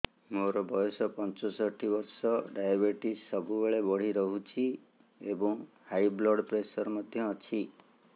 ମୋର ବୟସ ପଞ୍ଚଷଠି ବର୍ଷ ଡାଏବେଟିସ ସବୁବେଳେ ବଢି ରହୁଛି ଏବଂ ହାଇ ବ୍ଲଡ଼ ପ୍ରେସର ମଧ୍ୟ ଅଛି